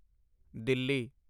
Delhi